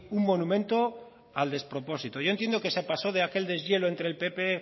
un monumento al despropósito yo entiendo que se pasó de aquel deshielo entre el pp